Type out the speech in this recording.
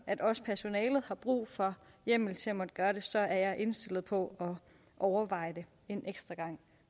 at også personalet har brug for hjemmel til at måtte gøre det så er jeg indstillet på at overveje det en ekstra gang